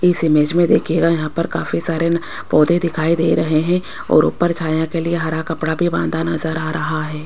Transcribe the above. इस इमेज में देखिएगा यहां पर काफी सारे पौधे दिखाई दे रहे हैं और ऊपर छाया के लिए हरा कपड़ा भी बांधा नजर आ रहा है।